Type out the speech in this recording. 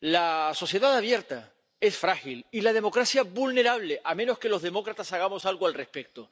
la sociedad abierta es frágil, y la democracia vulnerable a menos que los demócratas hagamos algo al respecto.